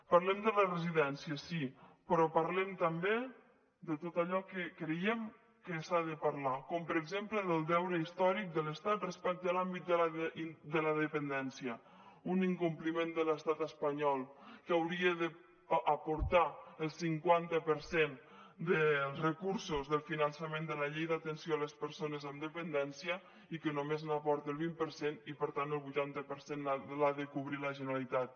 parlem de les residències sí però parlem també de tot allò que creiem que s’ha de parlar com per exemple del deute històric de l’estat respecte a l’àmbit de la dependència un incompliment de l’estat espanyol que hauria d’aportar el cinquanta per cent dels recursos del finançament de la llei d’atenció a les persones amb dependència i que només aporta el vint per cent i per tant el vuitanta per cent l’ha de cobrir la generalitat